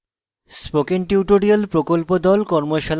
spoken tutorial প্রকল্প the